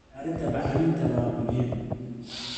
Diyaarinta bacriminta waa muhiim.